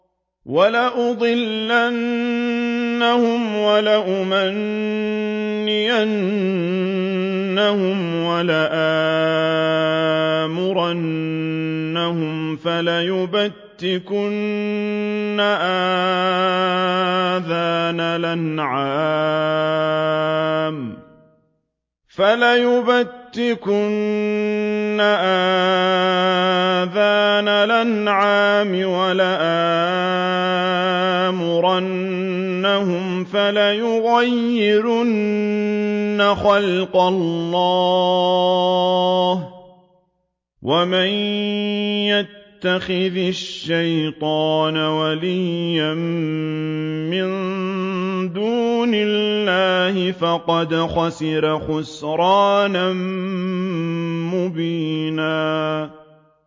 وَلَأُضِلَّنَّهُمْ وَلَأُمَنِّيَنَّهُمْ وَلَآمُرَنَّهُمْ فَلَيُبَتِّكُنَّ آذَانَ الْأَنْعَامِ وَلَآمُرَنَّهُمْ فَلَيُغَيِّرُنَّ خَلْقَ اللَّهِ ۚ وَمَن يَتَّخِذِ الشَّيْطَانَ وَلِيًّا مِّن دُونِ اللَّهِ فَقَدْ خَسِرَ خُسْرَانًا مُّبِينًا